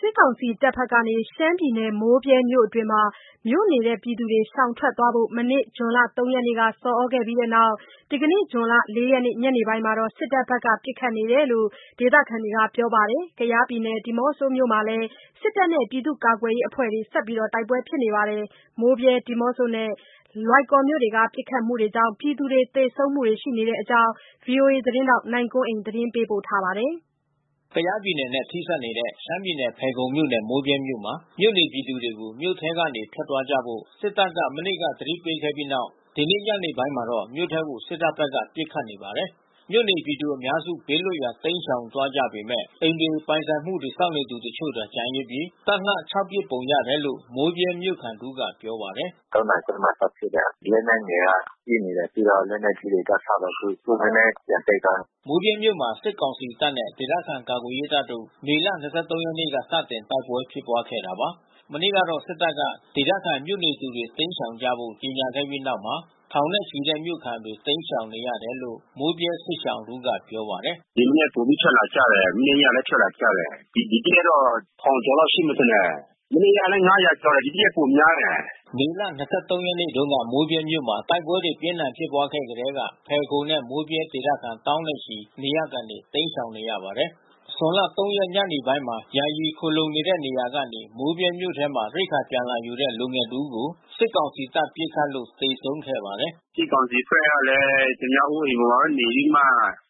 စစ်ကောင်စီတပ်ဘက်ကနေ ရှမ်းပြည်နယ် မိုးဗြဲမြို့အတွင်းမှာ မြို့နေသူတွေ ရှောင်ထွက်သွားဖို့ မနေ့ ဇွန်လ ၃ ရက်နေ့က ဆော်သြခဲ့ပြီးနောက် ဒီကနေ ဇွန်လ ၄ ရက်နေ့ ညနေပိုင်းမှာ စစ်တပ်ဘက်က ပစ်ခတ်နေတယ်လို့ ဒေသခံတွေက ပြောပါတယ်။ ကယားပြည်နယ် ဒီးမော့ဆိုမြို့မှာလည်း စစ်တပ်နဲ့ ပြည်သူ့ကာကွယ်ရေးအဖွဲ့တွေ ဆက်လက်တိုက်ပွဲဖြစ်နေပါတယ်။ မိုးဗြဲ၊ ဒီးမော့ဆိုနဲ့ လွိုင်ကော်မြို့တွေမှာ ပစ်ခတ်မှုကြောင့် ပြည်သူ သေဆုံးမှုတွေလည်း ရှိနေတဲ့အကြောင်းဗွီအိုအေ သတင်းထောက် နိုင်ကွန်းအိန်က သတင်းပေးပို့ထားပါတယ်။ ကယားပြည်နယ်နဲ့ ထိစပ်နေတဲ့ ရှမ်းပြည်နယ် ဖယ်ခုံမြို့နယ်၊ မိုးဗြဲမြို့မှာ မြို့နေပြည်သူတွေကို မြို့ထဲကနေ ထွက်သွားကြဖို့ စစ်တပ်က မနေ့က သတိပေးခဲ့ပြီးနောက် ဒီနေ့ညနေပိုင်းမှာတော့ မြို့ထဲကို စစ်တပ်ဘက်က ပစ်ခတ်နေပါတယ်။ မြို့နေပြည်သူအများစု ဘေးလွတ်ရာ ရှောင်သွားခဲ့ကြပေမဲ့ အိမ်တွေ၊ ပိုင်ဆိုင်မှုတွေကို စောင့်နေသူတချို့သာ ကျန်ရစ်ပြီး ခြောက်လှန့်ဖို့ပစ်ပုံရတယ်လို့ မိုးဗြဲမြို့ခံတဦးကပြောပါတယ်။ "၃ နာရီခွဲမှာစဖြစ်တယ်။ လက်နက်ငယ်တွေကပစ်နေတယ်။ ပြီးတော့လက်နက်ကြီးတွေက ၆ လုံးအထိ။ အခုနည်းနည်းပြန်တိတ်သွားပြီ။" မိုးဗြဲမြို့မှာစစ်ကောင်စီတပ်နဲ့ ဒေသခံကာကွယ်ရေးတပ်တို့ မေလ ၂၃ ရက်နေ့က စတင် တိုက်ပွဲ ဖြစ်ပွါးခဲ့တာပါ။ မနေ့ကတော့ စစ်တပ်က မြို့ခံတွေ တိမ်းရှောင်ကြဖို့ကြေညာခဲ့ပြီးနောက်မှာ ထောင်ချီတဲ့မြို့ခံတွေ တိမ်းရှောင်နေကြတယ်လို့ မိုးဗြဲ စစ်ရှောင်တဦးကပြောပါတယ်။ "ဒီမနက်ပိုပြီးထွက်လာကြတယ်။ မနေ့ညလည်း ထွက်လာကြတယ်။ ဒီတရက်တော့ထောင်ကျော်လောက်ရှိမယ်ထင်တယ်။ မနေ့ကလဲ ၅၀၀ ကျော်တယ်။ ဒီတရက်ပိုများတယ်။" မေလ ၂၃ ရက်နေ့တုန်းက မိုးဗြဲမြို့မှာ တိုက်ပွဲတွေပြင်းထန်ဖြစ်ပွါးခဲ့ထဲက ဖယ်ခုံနဲ့မိုးဗြဲဒေသခံသောင်းနဲ့ချီ နေရပ်ကနေတိမ်းရှောင်နေရပါတယ်။ ဇွန်လ ၃ ရက် ညနေပိုင်းမှာ ယာယီခိုလှုံနေတဲ့နေရာကနေမိုးဗြဲမြို့ထဲမှာ ရိက္ခာပြန်လာယူတဲ့ လူငယ်တဦးကို စစ်ကောင်စီတပ်က ပစ်ခတ်လို့ သေဆုံးခဲ့ပါတယ်။ "စစ်ကောင်စီဘက်ကလည်း သူများအိုးအိမ်မှာနေပြီးမှ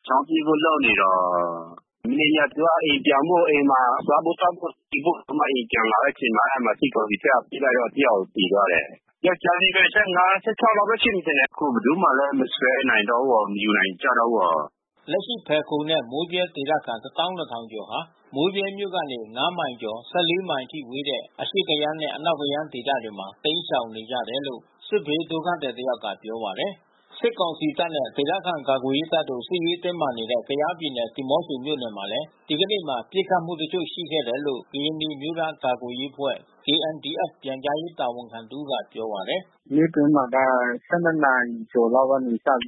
ချောင်းပစ်ဖို့လုပ်နေတော့။ မနေ့ည သူကအိမ်ပြန်ဖို့ အိမ်မှာစားဖို့ သောက်ဖို့ ယူဖို့အိမ်ပြန်လာတဲ့အချိန်မှာ အဲဒီမှာစစ်ကောင်စီဘက်ကပစ်လိုက်တော့တယောက်သေသွားတယ်။ ယောကျာ်းလေးပဲ၊ ၁၅ ၁၆ နှစ်လောက်ပဲ ရှိမယ်ထင်တယ်။ အခုဘယ်သူမှလည်း မဆွဲနိုင်တော့ဘူး မယူနိုင်တော့ဘူး။" လက်ရှိဖယ်ခုံနဲ့ မိုးဗြဲဒေသခံ ၁၂,၀၀၀ ဟာ မိုးဗြဲမြိ့ကနေ ၅ မိုင်ကျော် ၁၄ မိုင် အထိဝေးတဲ့ အရှေ့ကယန်းနဲ့ အနောက်ကယန်းဒေသမှာ တိမ်းရှောင်နေကြတယ်လို့ စစ်ဘေးဒုက္ခသည်တယောက်ကပြောပါတယ်။ စစ်ကောင်စီတပ်နဲ့ ဒေသခံကာကွယ်ရေးတပ်တို့စစ်ရေးတင်းမာနေတဲ့ ကယားပြည်နယ် ဒီးမော့ဆိုမြို့နယ်မှာလည်း ဒီကနေ့မှာ ပစ်ခတ်မှုတချို့ရှိခဲ့တယ်လို့ ကရင်နီအမျိုးသားကာကွယ်ရေးအဖွဲ့ KNDF ပြန်ကြားရေးတာဝန်ခံတဦးကပြောပါတယ်။ "မြို့တွင်းမှာက ၁၂ နာရီကျော်ကျော်လောက်ကစပြီးတော့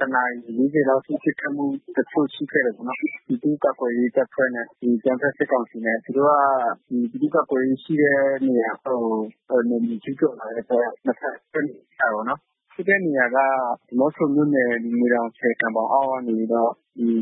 ၁ နာရီ ၄၀ လောက်အထိ ပစ်ခတ်မှုတချို့ရှိခဲ့တယ်ပေါ့နော်။ ပြည်သူ့ကာကွယ်ရေးတပ်ဖွဲ့နဲ့အကြမ်းဖက်စစ်ကောင်စီနဲ့။ သူတို့ကပြည်သူ့ကာကွယ်ရေးအဖွဲ့ရှိတဲ့နေရာဘက်ကို နယ်မြေကျူးကျော်လာတဲ့အတွက် နှစ်ဘက်ပစ်နေကြတာပေါ့နော်။ ဖြစ်တဲ့နေရာက ဒီးမော့ဆိုမြို့နယ်ငွေတောင်ဆည် ကန်ဘောင်အောက်ကနေပြီးတော့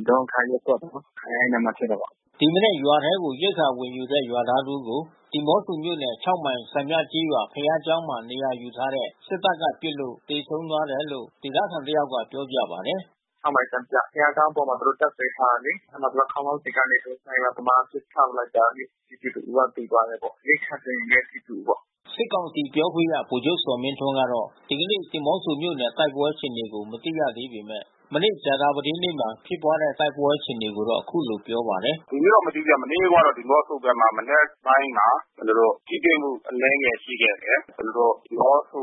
ဒေါ့ငံခါးရပ်ကွက်ပေါ့နော်။ အဲဒီမှာဖြစ်တာ။" ဒီမနက်က ရွာထဲကိုရိက္ခာဝင်ယူတဲ့ ရွာသားတဦးကို ဒီးမော့ဆိုမြို့နယ် ၆ မိုင်စံပြကျေးရွာ ဘုရားကျောင်းမှာ နေရာယူထားတဲ့ စစ်တပ်ကပစ်လို့ သေဆုံးသွားတယ်လို့ ဒေသခံတယောက်က ပြောပြပါတယ်။ "၆ မိုင် စံပြဘုရားကျောင်းပေါ်မှာ သူတို့တပ်စွဲထားတယ်လေ။ အဲဒီမှာခေါင်းလောင်းစင်ပေါ်က စနိုက်ပါသမား ပစ်ချလိုက် တာပြည်သူတဦးကသေသွားတယ်ပေါ့။ ရိက္ခာသယ်ယူတဲ့ပြည်သူပေါ့။" စစ်ကောင်စီပြောခွင့်ရဗိုလ်ချုပ်ဇော်မင်းထွန်းကတော့ ဒီကနေ့ ဒီးမော့ဆိုမြို့နယ်တိုက်ပွဲအခြေအနေကိုမသိရသေးပေမဲ့ မနေ့ကြာသပတေးနေ့မှာ ဖြစ်ပွါးတဲ့တိုက်ပွဲအခြေအနေကိုတော့အခုလိုပြောပါတယ်။ "ဒီနေ့တော့မသိဘူးဗျ။ မနေ့က ဒီးမော့ဆိုဘက်မှာ မနက်ပိုင်းမှာ ထိတွေ့မှု အနည်းငယ်ရှိခဲ့တယ်။ ကျနော်တို့ ဒီးမော့ဆို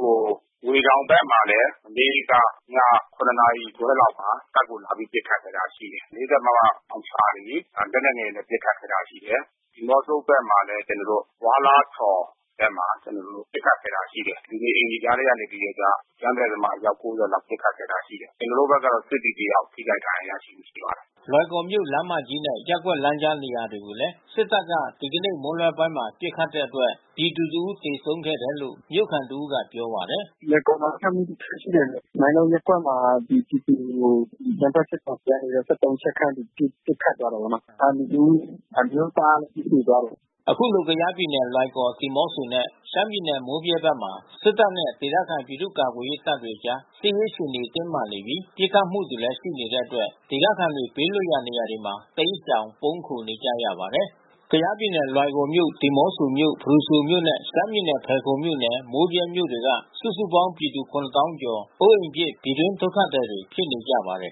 ငွေတောင်ဘက်မှာလည်း မနေ့ကည ၇ ခွဲလောက်မှာ တပ်ကိုလာပြီးပစ်ခတ်ခဲ့တာရှိတယ်။ ၄၀ မမလောင်ချာတွေ လက် နက်ငယ်တွေနဲ့ပစ်ခတ်ခဲ့တာရှိတယ်။ ဒီးမော့ဆိုဘက်မှာလဲ ကျနော်တို့ ဝါးလားထော်ဘက်မှာ ပစ်ခတ်ခဲ့တာရှိတယ်။ လူနေအိမ်တွေကြားထဲကနေပြီးတော့ကျ အကြမ်းဖက်သမား ၉၀ လောက်ပစ်ခတ်ခဲ့တာရှိတယ်။ ကျနော်တို့ဘက်က စစ်သည်တယောက်ထိခိုက်ဒဏ်ရာရရှိသွားတယ်။" လွိုင်ကော်မြို့လမ်းမကြီးနဲ့ ရပ်ကွက်လမ်းကြားနေရာတွေကိုလည်း စစ်တပ်က ဒီကနေ့မွန်းလွဲပိုင်းမှာ ပစ်ခတ်တဲ့အတွက် ပြည်သူတဦးသေဆုံးခဲ့တယ်လို့ မြို့ခံတဦးက ပြောပါတယ်။ "လွိုင်ကော်မှာပစ်ခတ်မှုတခုရှိတယ်။ မိုင်းလုံးရပ်ကွက်မှာ ပြည်သူတွေကို အကြမ်းဖက်စစ်ကောင်စီကနေပြီးတော့ ၁၃ ချက်ခန့်ပစ်ခတ်သွားတာပေါ့နော်။ လူတဦး အမျိုးသား သေသွားတယ်။" အခုလို ကယားပြည်နယ် လွိုင်ကော်၊ ဒီးမော့ဆိုနဲ့ရှမ်းပြည်နယ် မိုးဗြဲဘက်မှာ စစ်တပ်နဲ့ ဒေသခံ ပြည်သူ့ကာကွယ်ရေးတပ်တွေကြား စစ်ရေးအခြေအနေ တင်းမာနေပြီး ပစ်ခတ်မှုတွေလည်း ရှိနေတဲ့အတွက် ဒေသခံတွေ ဘေးလွတ်ရာနေရာတွေမှာ တိမ်းရှောင် ပုန်းခိုနေကြရပါတယ်။ ကယားပြည်နယ် လွိုင်ကော်မြို့၊ ဒီးမော့ဆိုမြို့၊ ဖရူဆိုမြို့နဲ့ ရှမ်းပြည်နယ် ဖယ်ခုံမြို့နယ် မိုးဗြဲမြို့တွေက စုစုပေါင်းပြည်သူ ၇၀,၀၀၀ ကျော် အိုးအိမ်ပစ်ထွက်ပြေးရပြီး ပြည်တွင်း ဒုက္ခသည်တွေဖြစ်နေကြပါတယ်